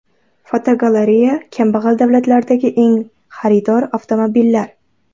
Fotogalereya: Kambag‘al davlatlardagi eng xaridorgir avtomobillar.